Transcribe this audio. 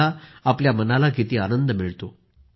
पहा आपल्या मनाला किती आनंद मिळतो